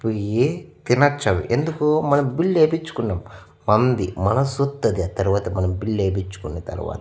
పొయ్యి తినొచ్చు అవి ఎందుకు మనం బిల్లు ఏపిచ్చుకున్నాం మంది మనుసొత్త అది తర్వాత మనం బిల్లు ఏపిచ్చుకున్న తర్వాత.